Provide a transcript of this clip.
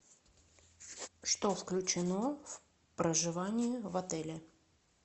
что включено в проживание в отеле